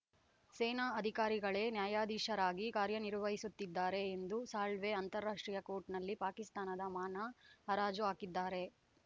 ಸೇನಾ ಅಧಿಕಾರಿಗಳೇ ನ್ಯಾಯಾಧೀಶರಾಗಿ ಕಾರ್ಯನಿರ್ವಹಿಸುತ್ತಿದ್ದಾರೆ ಎಂದು ಸಾಳ್ವೆ ಅಂತಾರಾಷ್ಟ್ರೀಯ ಕೋರ್ಟ್‌ನಲ್ಲಿ ಪಾಕಿಸ್ತಾನದ ಮಾನ ಹರಾಜು ಹಾಕಿದ್ದಾರೆ